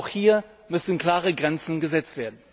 Auch hier müssen klare Grenzen gesetzt werden.